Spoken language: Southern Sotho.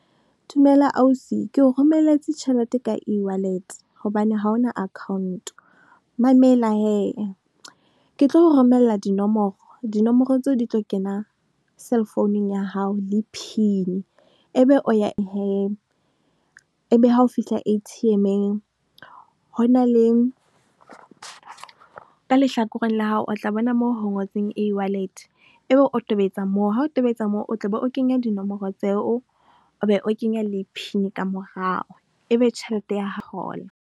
Dumela ausi, ke o romelletse tjhelete ka e-wallet hobane ha ona account. Mamela hee, ke tlo o romella dinomoro, dinomoro tseo di tlo kena cell founung ya hao le pin, e be o ya , e be ha o fihla A_T_M-eng, ho na le ka lehlakoreng la hao, o tla bona moo ho ngotsweng e-wallet, e be o tobetsa moo, ha o tobetsa moo, o tla be o kenya dinomoro tseo, o be o kenya le pin ka morao, e be tjhelete ya .